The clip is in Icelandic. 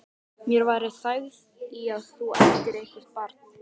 Mér væri þægð í að þú ættir eitthvert barn.